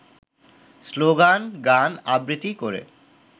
স্লোগান-গান-আবৃত্তি করে